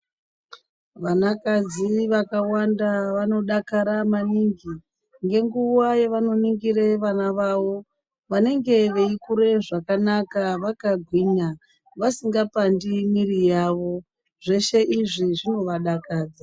Vana kadzi vakawanda vanodakara maningi ngenguwa yavanoningira vana vavo vanenge veikura zvakanaka vakagwinya vasinga pandi mwiri yavo zveshe izvi zvinovadakadza.